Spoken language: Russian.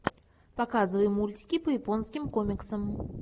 показывай мультики по японским комиксам